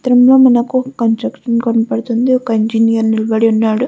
ఈ చిత్రం లో మనకు ఒక కన్స్స్ట్రక్షన్ కనపడతుంది. ఒక ఇంజనీర్ నిలబడి ఉన్నాడు.